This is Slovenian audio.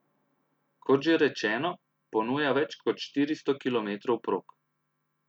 Kot že rečeno, ponuja več kot štiristo kilometrov prog.